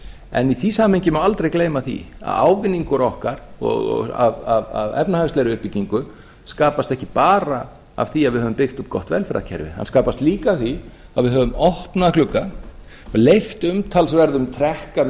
en í því samhengi má aldrei gleyma því að ávinningur okkar af efnahagslegri uppbyggingu skapast ekki bara af því að við höfum byggt upp gott velferðarkerfi það skapast líka af því að við höfum opnað glugga og leyft umtalsverðum trekk að